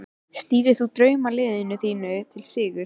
Stýrir þú draumaliðinu þínu til sigurs?